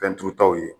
Fɛn turutaw ye